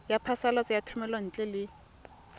ya phasalatso ya thomelontle le